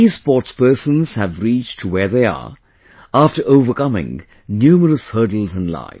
These sportspersons have reached where they are after overcoming numerous hurdles in life